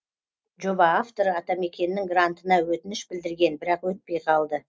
жоба авторы атамекеннің грантына өтініш білдірген бірақ өтпей қалды